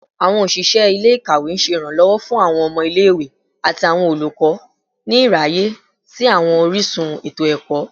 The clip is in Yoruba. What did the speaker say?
Awọn oṣiṣẹ ile-ikawe ṣe iranlọwọ fun awọn ọmọ ile-iwe ati awọn olukọ ni iraye si awọn orisun eto-ẹkọ